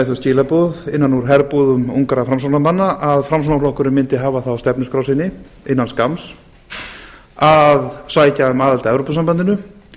þau skilaboð innan úr herbúðum ungra framsóknarmanna að framsóknarflokkurinn mundi hafa það á stefnuskrá sinni innan skamma að sækja um aðild að evrópusambandinu